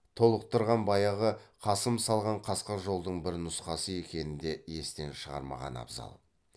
толықтырған баяғы қасым салған қасқа жолдың бір нұсқасы екенін де естен шығармаған абзал